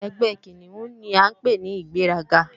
Ẹgbẹ́ Kìnìún ni à ń pè ní ìgbéraga